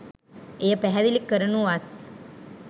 එය පැහැදිලි කරනුවස්